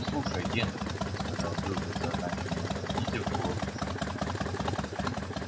слушай генри сказал билл бессознательно понизив голос до шёпота